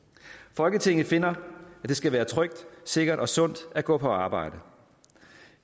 folketinget finder at det skal være trygt sikkert og sundt at gå på arbejde